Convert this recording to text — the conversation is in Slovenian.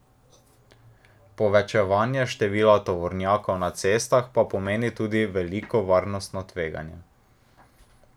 Povečevanje števila tovornjakov na cestah pa pomeni tudi veliko varnostno tveganje.